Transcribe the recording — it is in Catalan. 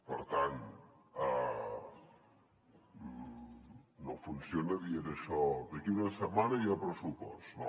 per tant no funciona dient això d’aquí una setmana hi ha pressupost no